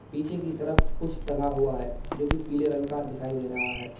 पीछे की तरफ कुछ टंगा हुआ है जो कि पीले रंग का दिखाई दे रहा है।